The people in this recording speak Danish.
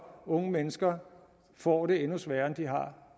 unge mennesker får det endnu sværere end de har